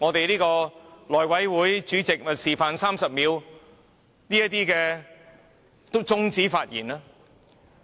內務委員會主席已示範了如何在30秒後終止議員發言。